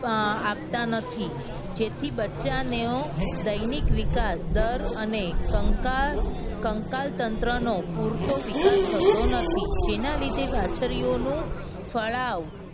અમ આપતા નથી. જેથી બચ્ચાનો દૈનિક વિકાસ દર અને કંકાર કંકાલ તંત્રનો પૂરતો વિકાસ થતો નથી. જેના લીધે વાછરીઓનો ફડાવ